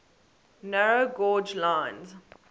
narrow gauge lines